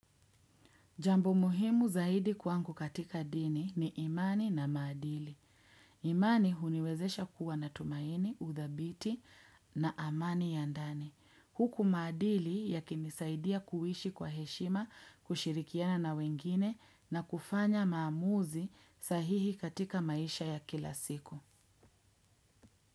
Jambo muhimu zaidi kwangu katika dini ni imani na maadili. Imani huniwezesha kuwa na tumaini, uthabiti na amani ya ndani. Huku maadili yakinisaidia kuishi kwa heshima, kushirikiana na wengine na kufanya maamuzi sahihi katika maisha ya kila siku.